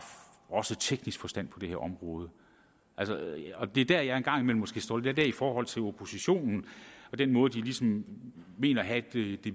teknisk forstand på det her område det er der jeg en gang imellem måske står lidt af i forhold til oppositionen og den måde de ligesom mener at have det